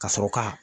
Ka sɔrɔ ka